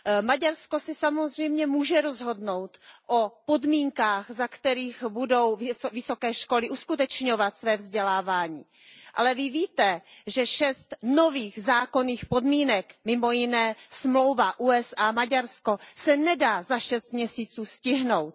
Maďarsko si samozřejmě může rozhodnout o podmínkách, za kterých budou vysoké školy uskutečňovat své vzdělávání, ale Vy víte, že šest nových zákonných podmínek, mimo jiné smlouva USA Maďarsko, se nedá za šest měsíců stihnout.